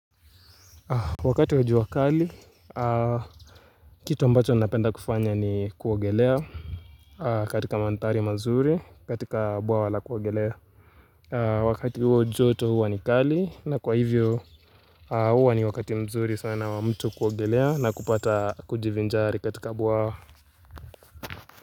Wakati wa jua kali, kitu ambacho napenda kufanya ni kuogelea katika mandhari mazuri katika bwawa la kuogelea Wakati huo joto huwa ni kali na kwa hivyo huwa ni wakati mzuri sana wa mtu kuogelea na kupata kujivinjari katika bwawa.